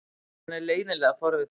Hann er leiðinlega forvitinn.